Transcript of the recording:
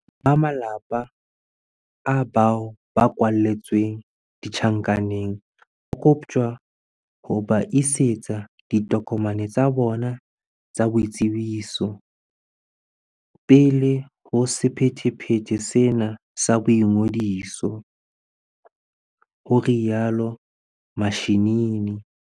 Ba malapa a bao ba kwalletsweng ditjhankaneng ba koptjwa ho ba isetsa di tokomane tsa bona tsa boitsebiso pele ho sephethephethe sena sa boingodiso, ho rialo Mashinini.